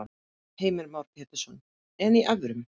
Heimir Már Pétursson: En í evrum?